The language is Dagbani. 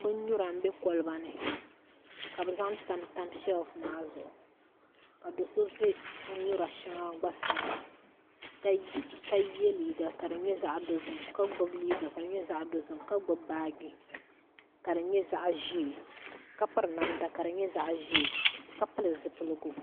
Bin nyura n bɛ kolba ni ka bi zaŋ tamtam shɛlf maa zuɣu ka do so ʒɛ bin nyura gba shɛli sani ka yɛ liiga ka di nyɛ zaɣ dozim ka gbubi liiga kadi nyɛ zaɣ dozim ka gbubi baaji ka di nyɛ zaɣ ʒiɛ ka piri namda ka di nyɛ zaɣ ʒiɛ ka pili zipiligu